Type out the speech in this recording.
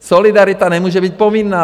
Solidarita nemůže být povinná.